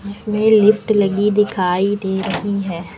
जिसमें लिफ्ट लगी दिखाई दे रही है।